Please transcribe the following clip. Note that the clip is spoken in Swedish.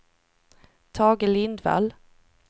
Tage Lindvall